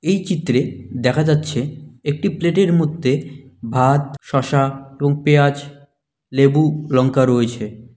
এই চিত্রে দেখা যাচ্ছে একটি প্লেটের মধ্যে ভাত শসা এবং পেঁয়াজ লেবু লঙ্কা রয়েছে।